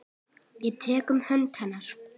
Ég tek um hönd hennar.